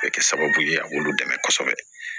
Kɛ sababu ye a b'olu dɛmɛ kosɛbɛ